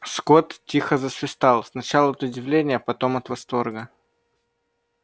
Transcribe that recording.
скотт тихо засвистал сначала от удивления потом от восторга